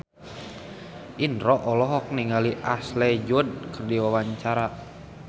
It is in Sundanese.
Indro olohok ningali Ashley Judd keur diwawancara